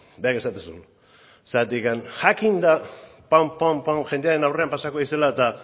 berak esaten zuen zergatik jakinda pum pum pum jendearen aurrean pasako direla eta